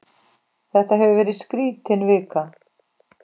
Þetta hefur verið skrítin vika.